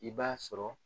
I b'a sɔrɔ